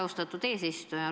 Austatud eesistuja!